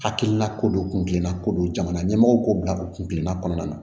Hakilina ko don kunkina ko don jamana ɲɛmɔgɔ ko bila don kunkiya kɔnɔna na